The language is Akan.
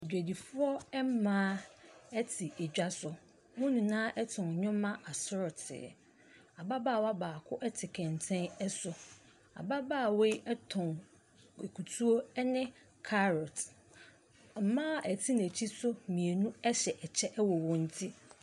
Adwadifoɔ mmaa te dwa so. Wɔn nyinaa tɔn nneɛma asorɔtee. Ababaawa baako te kɛntɛn so. Ababaawa yi tɔn akutuo ne carrot. Wɔn a wɔte n'akyi nso mmienu hyɛ kyɛ wɔ wɔn ti.